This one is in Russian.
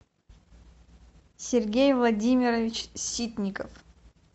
сергей владимирович ситников